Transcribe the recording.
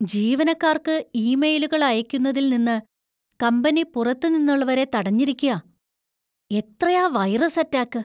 ജീവനക്കാർക്ക് ഇമെയിലുകൾ അയയ്ക്കുന്നതിൽ നിന്ന് കമ്പനി പുറത്തു നിന്നുള്ളവരെ തടഞ്ഞിരിക്കാ. എത്രയാ വൈറസ് അറ്റാക്ക്!